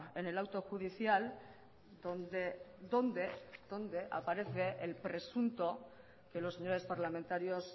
en el auto judicial dónde dónde dónde aparece el presunto que los señores parlamentarios